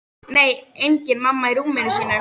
Nei, engin mamma í rúminu sínu.